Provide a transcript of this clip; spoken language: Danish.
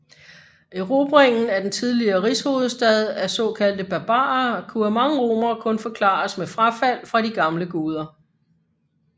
Erobringen af den tidligere rigshovedstad af såkaldte barbarer kunne af mange romere kun forklares med frafald fra de gamle guder